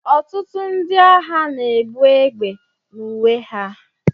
ọtụtụ ndị agha na-ebu egbe n'uwe ha